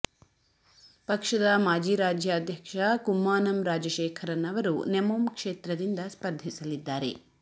ಪಕ್ಷದ ಮಾಜಿ ರಾಜ್ಯಾಧ್ಯಕ್ಷ ಕುಮ್ಮಾನಂ ರಾಜಶೇಖರನ್ ಅವರು ನೆಮೊಮ್ ಕ್ಷೇತ್ರದಿಂದ ಸ್ಪರ್ಧಿಸಲಿದ್ದಾರೆ